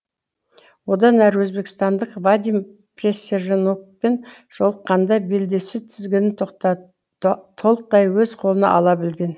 одан әрі өзбекістандық вадим присяжнокпен жолыққанда белдесу тізгінін толықтай өз қолына ала білген